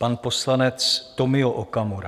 Pan poslanec Tomio Okamura.